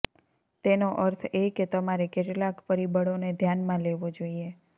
તેનો અર્થ એ કે તમારે કેટલાક પરિબળોને ધ્યાનમાં લેવો જોઈએ